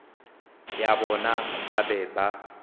ya bona ba be ba